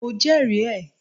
Mo jẹ́rì ẹ́